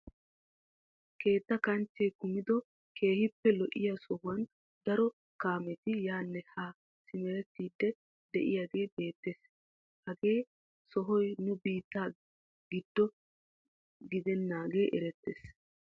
Keetta kanchchee kumido keehippe lo"iyaa sohuwaan daro kaameti yaanne haa simerettiidi de'iyaagee beettees. hagee sohoy nu biittaa giddo gidenagee erettees.